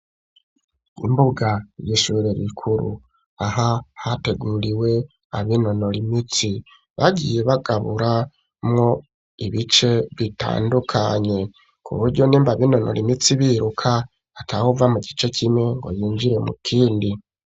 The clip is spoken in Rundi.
iimbuga yishure rikuru aha hateguriwe abinonore imitsi bagiye bagabura mwo ibice bitandukanye kuburyo nimba abinonore imitsi biruka atawuva mu gice kimwe ngo yinjire mu kindi